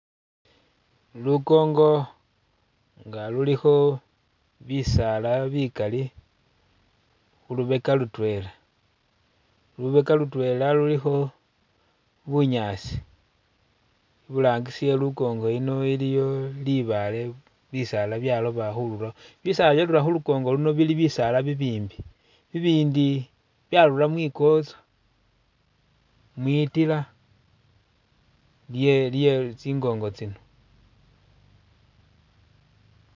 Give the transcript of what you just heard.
Lukongo nga lulikho bisaala bikaali khulubeka lutwela, khulubeka lutwela lulikho bunyaasi iburangisi we lukongo luuno iliwo libaale bisaala byaloba khururakho bisaala bibyabira khulukongo khuno ili bisaala bibimbi ibindi byarura mwikozo, mwitila bye lye'tsingongo tsino